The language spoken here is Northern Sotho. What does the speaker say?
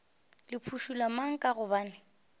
le phušula mang ka gobane